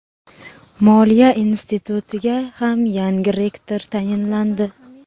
Moliya institutiga ham yangi rektor tayinlandi.